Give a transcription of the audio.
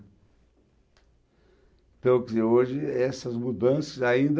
Tanto que hoje, essas mudanças ainda...